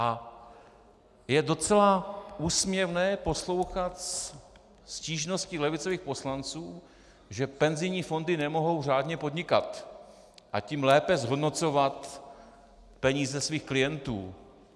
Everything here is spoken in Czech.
A je docela úsměvné poslouchat stížnosti levicových poslanců, že penzijní fondy nemohou řádně podnikat, a tím lépe zhodnocovat peníze svých klientů.